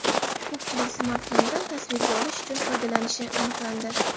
Ko‘pchilik smartfonidan tasvirga olish uchun foydalanishi aniqlandi.